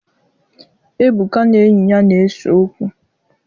Ebuka na enyi ya na-ese okwu.